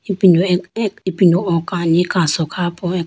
Ipindo akh akh o kani kaso kha po aka.